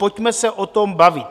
Pojďme se o tom bavit.